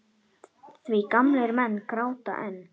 Því gamlir menn gráta enn.